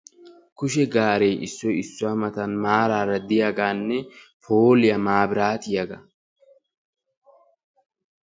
kushe gaaree issoy issuwa matan maaraara diyaagaanne pooliya maabraatiyaga.